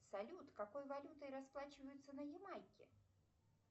салют какой валютой расплачиваются на ямайке